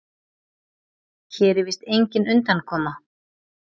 Hér er víst engin undankoma.